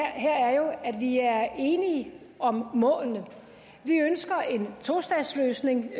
her er jo at vi er enige om målene vi ønsker en tostatsløsning